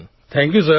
thank you sir